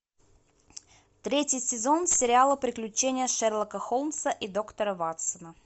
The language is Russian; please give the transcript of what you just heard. третий сезон сериала приключения шерлока холмса и доктора ватсона